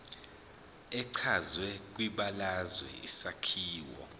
echazwe kwibalazwe isakhiwo